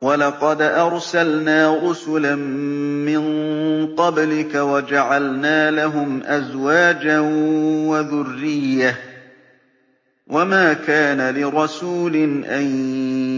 وَلَقَدْ أَرْسَلْنَا رُسُلًا مِّن قَبْلِكَ وَجَعَلْنَا لَهُمْ أَزْوَاجًا وَذُرِّيَّةً ۚ وَمَا كَانَ لِرَسُولٍ أَن